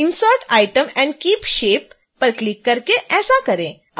insert item and keep shape पर click करके ऐसा करें